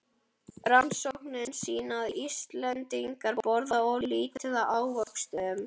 Rannsóknir sýna að Íslendingar borða of lítið af ávöxtum.